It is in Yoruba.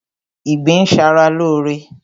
Ìgbín ń ṣa ra lóóre